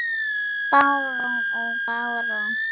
Barón og barón